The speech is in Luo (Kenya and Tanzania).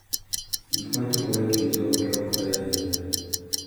Gik ma timore e kind joot lokore ahinya